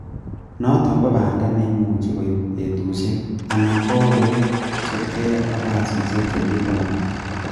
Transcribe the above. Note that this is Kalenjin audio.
Noton ko banda neimuche koib betusiek, anan ko orowek kosiibge ak kasisiek chebitunotin.